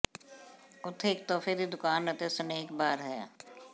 ਉੱਥੇ ਇਕ ਤੋਹਫ਼ੇ ਦੀ ਦੁਕਾਨ ਅਤੇ ਸਨੈਕ ਬਾਰ ਹੈ